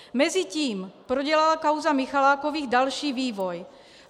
Mezitím prodělala kauza Michalákových další vývoj.